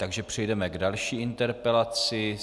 Takže přejdeme k další interpelaci.